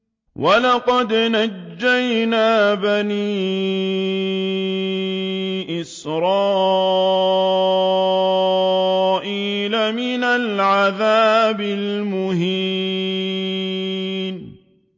وَلَقَدْ نَجَّيْنَا بَنِي إِسْرَائِيلَ مِنَ الْعَذَابِ الْمُهِينِ